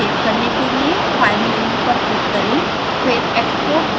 इस इमेज को सेव करने के लिए file मेन्यु पर क्ल्लिक करें